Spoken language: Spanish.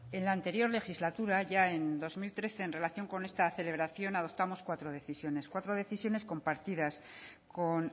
en la anterior legislatura ya en dos mil trece en relación con esta celebración adoptamos cuatro decisiones cuatro decisiones compartidas con